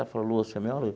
Ela falou, Lúcia o meu é